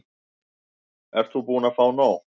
Ert þú búin að fá nóg?